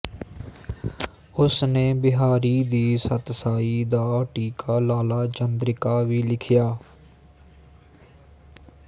ਉਸਨੇ ਬਿਹਾਰੀ ਦੀ ਸਤਸਾਈ ਦਾ ਟੀਕਾ ਲਾਲਾ ਚੰਦਰਿਕਾ ਵੀ ਲਿਖਿਆ